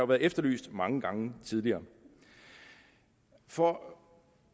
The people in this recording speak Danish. været efterlyst mange gange tidligere for